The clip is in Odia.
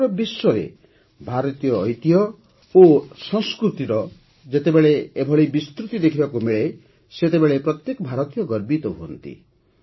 ସମଗ୍ର ବିଶ୍ୱରେ ଭାରତୀୟ ଐତିହ୍ୟ ଓ ସଂସ୍କୃତିର ଯେତେବେଳେ ଏଭଳି ବିସ୍ତୃତି ଦେଖିବାକୁ ମିଳେ ସେତେବେଳେ ପ୍ରତ୍ୟେକ ଭାରତୀୟ ଗର୍ବିତ ହୁଅନ୍ତି